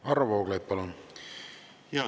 Varro Vooglaid, palun!